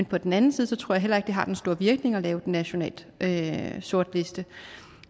på den anden side tror jeg heller ikke det har den store virkning at lave en national sortliste